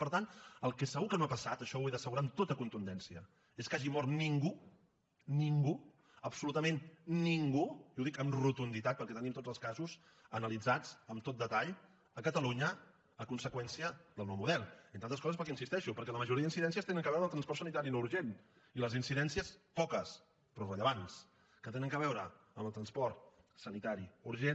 per tant el que segur que no ha passat això ho he d’assegurar amb tota contundència és que hagi mort ningú ningú absolutament ningú i ho dic amb rotunditat perquè tenim tots els casos analitzats amb tot detall a catalunya a conseqüència del nou model entre altres coses perquè hi insisteixo la majoria d’incidències tenen a veure amb el transport sanitari no urgent i les incidències poques però rellevants que tenen a veure amb el transport sanitari urgent